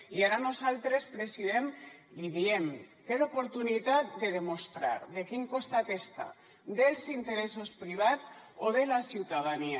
i ara nosaltres president li diem té l’oportunitat de demostrar de quin costat està dels interessos privats o de la ciutadania